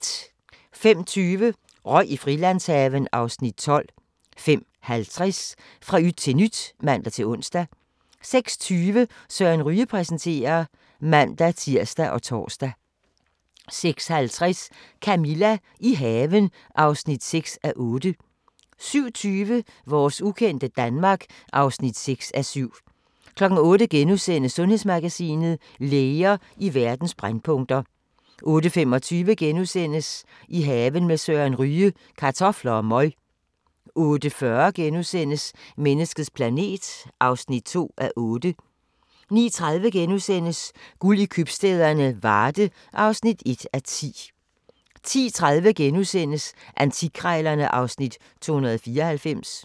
05:20: Røg i Frilandshaven (Afs. 12) 05:50: Fra yt til nyt (man-ons) 06:20: Søren Ryge præsenterer (man-tir og tor) 06:50: Camilla – i haven (6:8) 07:20: Vores ukendte Danmark (6:7) 08:00: Sundhedsmagasinet: Læger i verdens brændpunkter * 08:25: I haven med Søren Ryge: Kartofler og møg * 08:40: Menneskets planet (2:8)* 09:30: Guld i købstæderne - Varde (1:10)* 10:30: Antikkrejlerne (Afs. 294)*